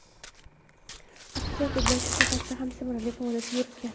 Aktyor dublyaj sohasida ham samarali faoliyat yuritgan.